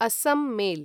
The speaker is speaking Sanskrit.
अस्सं मेल्